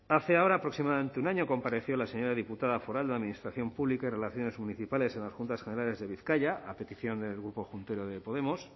hace ahora aproximadamente un año compareció la señora diputada foral de la administración pública y relaciones municipales en las juntas generales de bizkaia a petición del grupo juntero de podemos